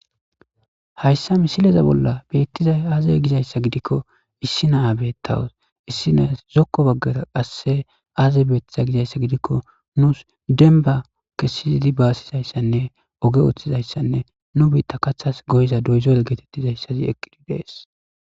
Hayssa misileza bolla bettiza aaze gizayssa gidikko issi naa bettawos issi naas zokko baggara qasse aaze beetiza gizayssa gidikko nus denba kessiidi baasizayssanne oge ooththizayssanne nu biitta kathas goyiza doyzoel geetettizayssazi eqqidi dees.